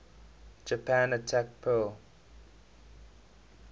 japan attacked pearl